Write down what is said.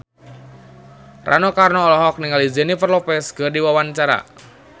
Rano Karno olohok ningali Jennifer Lopez keur diwawancara